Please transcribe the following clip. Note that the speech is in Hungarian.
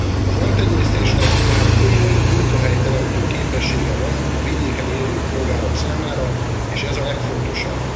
A haltenyésztésnek tehát komoly munkahelyteremtő képessége van a vidéken élő polgárok számára, és ez a legfontosabb.